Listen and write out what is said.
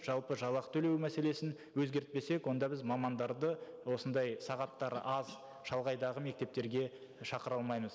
жалпы жалақы төлеу мәселесін өзгертпесек онда біз мамандарды осындай сағаттары аз шалғайдағы мектептерге шақыра алмаймыз